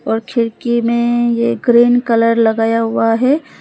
और खिड़की में ये ग्रीन कलर लगाया हुआ है।